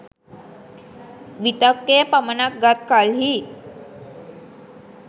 විතක්කය පමණක් ගත් කල්හි